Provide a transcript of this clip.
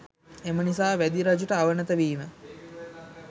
එම නිසා වැදි රජුට අවනත වීම